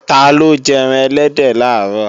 Taló jẹ́ran ẹlẹ́dẹ̀ làárọ̀?